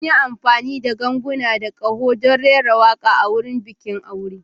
Mun yi amfani da ganguna da ƙaho don rera waƙa a wurin bikin aure.